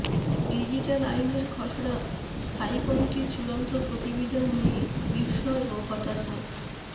digital আইনের খসড়া স্থায়ী কমিটির চূড়ান্ত প্রতিবেদন নিয়ে বিস্ময় ও হতাশা